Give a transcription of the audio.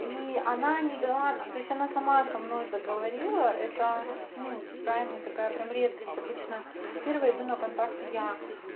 и она не дала то есть она сама со мной заговорила это ну крайняя такая прям редкость обычно первая иду на контакт я